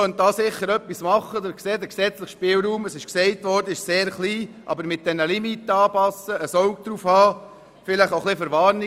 Der gesetzliche Spielraum ist zwar sehr klein, aber man könnte die Limite anpassen, genau hinschauen, vielleicht auch verwarnen.